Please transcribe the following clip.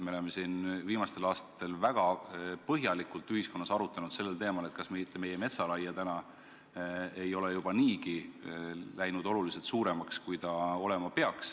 Me oleme viimastel aastatel väga põhjalikult ühiskonnas arutlenud sellel teemal, kas meie metsaraie ei ole juba läinud niigi oluliselt suuremaks, kui ta olema peaks.